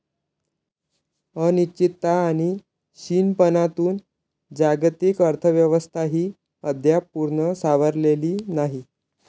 अनिश्चितता आणि क्षीणपणातून जागतिक अर्थव्यवस्थाही अद्याप पूर्ण सावरलेली नाही.